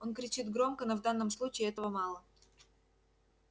он кричит громко но в данном случае этого мало